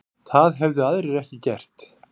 Það hefðu aðrir ekki gert